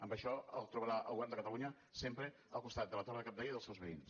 amb això el trobarà el govern de catalunya sempre al costat de la torre de cabdella i dels seus veïns